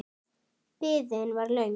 Biðin var löng.